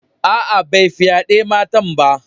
Aa, bai fyade matan ba.